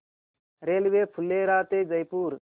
railway Phulera ते जयपूर